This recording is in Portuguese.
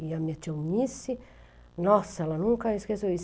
E a minha tia Eunice, nossa, ela nunca esqueceu isso.